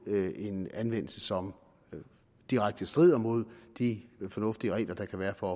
en anvendelse som direkte strider mod de fornuftige regler der kan være for